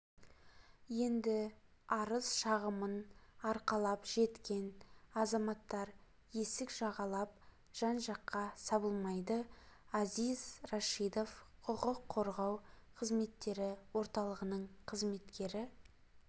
енді арыз-шағымын арқалап жеткен азаматтар есік жағалап жан-жаққа сабылмайды азиз рашидов құқық қорғау қызметтері орталығының қызметкері